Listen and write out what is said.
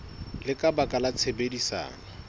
le ka baka la tshebedisano